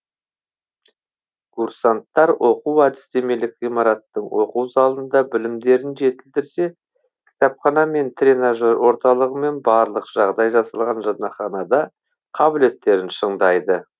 курсанттар оқу әдістемелік ғимараттың оқу залында білімдерін жетілдірсе кітапхана мен тренажер орталығы мен барлық жағдай жасалған жатақханада қабілеттерін шыңдайды